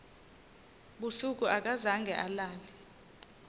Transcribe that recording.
busuku akazange alale